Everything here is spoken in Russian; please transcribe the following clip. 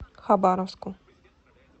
хабаровску